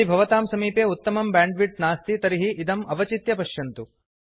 यदि भवतां समीपे उत्तमं ब्यांड्विड्त् नास्ति तर्हि इदम् अवचित्य पश्यन्तु